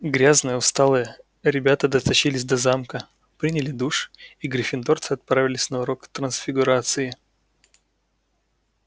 грязные усталые ребята дотащились до замка приняли душ и гриффиндорцы отправились на урок трансфигурации